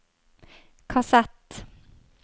kassett